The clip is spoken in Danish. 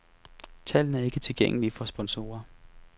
Tallene er ikke tilgængelige for sponsorer.